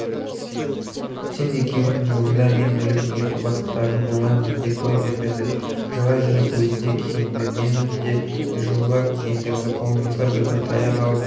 сен екеуіңнің жолыңда мен өліп неге құрбандықтарың болмаймын деп бой бермеді жылай жүріп өзі де киінді мені де жылылап киіндірді қолымызға бір-бір таяқ алып